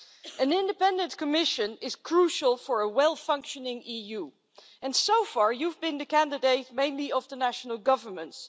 An independent Commission is crucial for a well functioning EU, and so far you've been the candidate mainly of the national governments.